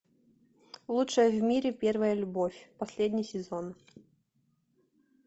лучшая в мире первая любовь последний сезон